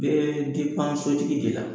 Bee sotigi de la